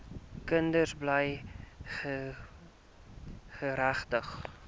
kinders bly geregtig